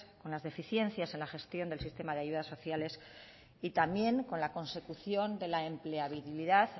con las deficiencias en la gestión en el sistema de las ayudas sociales y también con la consecución de la empleabilidad de